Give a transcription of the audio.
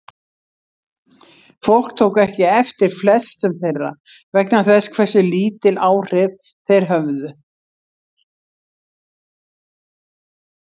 Fólk tók ekki eftir flestum þeirra vegna þess hversu lítil áhrif þeir höfðu.